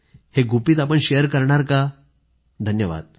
हे गुपित आपण शेअर करणार का धन्यवाद